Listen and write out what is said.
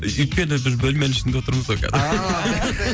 өйткені біз бөлменің ішінде отырмыз ғой қазір